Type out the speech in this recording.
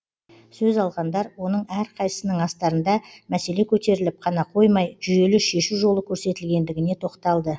сөз алғандар оның әрқайсысының астарында мәселе көтеріліп қана қоймай жүйелі шешу жолы көрсетілгендігіне тоқталды